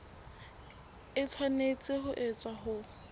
e tshwanetse ho etswa ho